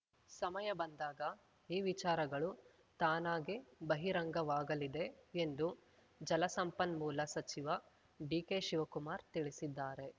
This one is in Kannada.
ಸಮಯ ಬಂದಾಗ ಈ ವಿಚಾರಗಳು ತಾನಾಗೇ ಬಹಿರಂಗವಾಗಲಿದೆ ಎಂದು ಜಲಸಂಪನ್ಮೂಲ ಸಚಿವ ಡಿಕೆಶಿವಕುಮಾರ್‌ ತಿಳಿಸಿದ್ದಾರೆ